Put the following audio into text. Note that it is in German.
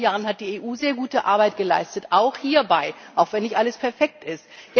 In den letzten Jahren hat die EU sehr gute Arbeit geleistet, auch hierbei, auch wenn nicht alles perfekt ist.